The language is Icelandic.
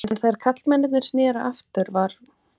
En þegar karlmennirnir sneru aftur var